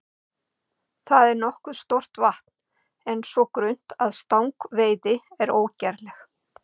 Það er nokkuð stórt vatn en svo grunnt að stangveiði er ógerleg.